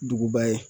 Duguba ye